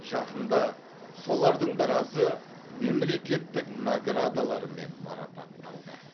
жақында солардың біразы мемлекеттік наградалармен марапатталды